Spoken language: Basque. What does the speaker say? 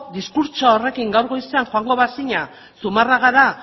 diskurtso horrekin gaur goizean joango bazina zumarragara